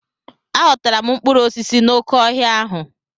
Aghọtara m mkpụrụ osisi n'oké ọhịa ahụ.